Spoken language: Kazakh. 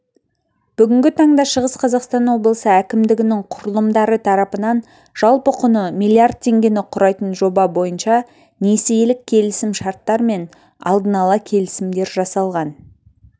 бүгінгі таңда шығыс қазақстан облысы әкімдігінің құрылымдары тарапынан жалпы құны миллиард теңгені құрайтын жоба бойынша несиелік келісім-шарттар мен алдын-ала келісімдер жасалған